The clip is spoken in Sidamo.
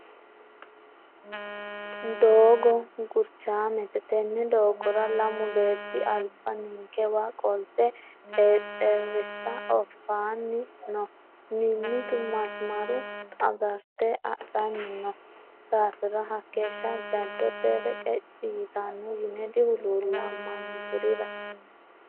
Doogo gurchamete tene doogora lamu beetti alba ninkeqa qolte xexerisa oofani no mimitu masimara agarte hadhanni no daafira hakeeshsha jadote reqeci ytano yine dihuluullamani kurira.